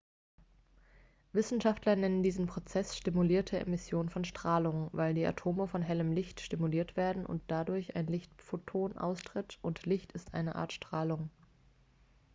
"wissenschaftler nennen diesen prozess "stimulierte emission von strahlung" weil die atome von hellem licht stimuliert werden und dadurch ein lichtphoton austritt und licht ist eine art strahlung.